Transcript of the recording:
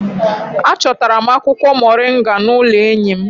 Achọtara m akwụkwọ moringa n'ụlọ enyi m